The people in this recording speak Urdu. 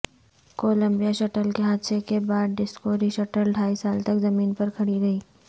کولمبیا شٹل کے حادثے کے بعد ڈسکوری شٹل ڈھائی سال تک زمین پر کھڑی رہی